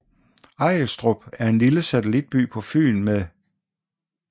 Ejlstrup er en lille satellitby på Fyn med